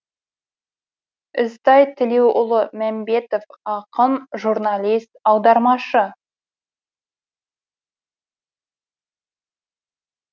ізтай тілеуұлы мәмбетов ақын журналист аудармашы